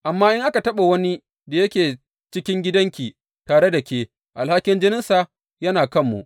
Amma in aka taɓa wani da yake cikin gidanki tare da ke, alhakin jininsa yana kanmu.